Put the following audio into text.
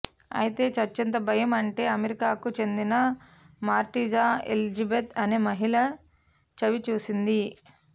అయితే చచ్చెంత భయం అంటే అమెరికాకు చెందిన మారిటజా ఎలిజబెత్ అనే మహిళ చవి చూసింది